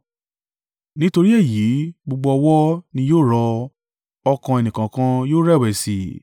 Nítorí èyí, gbogbo ọwọ́ ni yóò rọ, ọkàn ẹnìkọ̀ọ̀kan yóò rẹ̀wẹ̀sì.